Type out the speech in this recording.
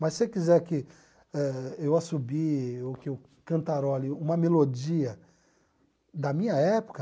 Mas se você quiser que eh eu assobie ou que eu cantarole uma melodia da minha época,